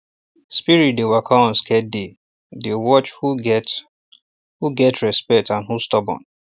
spirit dey waka on sacred day dey watch who get who get respect and who stubborn